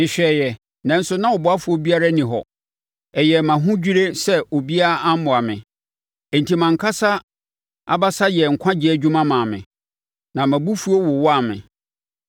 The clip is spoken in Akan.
Mehwɛeɛ, nanso na ɔboafoɔ biara nni hɔ, ɛyɛɛ me ahodwirie sɛ obiara ammoa me; enti mʼankasa abasa yɛɛ nkwagyeɛ dwuma maa me, na mʼabufuo wowaa me.